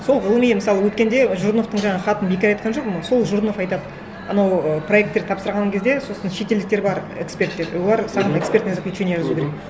сол ғылыми мысалы өткенде жүріновтің жаңағы хатын бекер айтқан жоқпын сол жүрінов айтады анау проекттер тапсырған кезде сосын шетелдіктер бар эксперттер олар саған экспертное заключение жазу керек